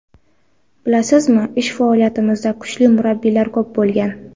Bilasizmi, ish faoliyatimda kuchli murabbiylar ko‘p bo‘lgan.